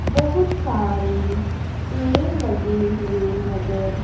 बहोत सारे पेड़ लगे हुए नजर--